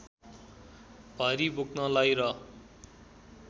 भारी बोक्नलाई र